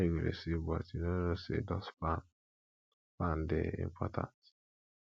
how you go dey sweep but you no know say dust pan pan dey important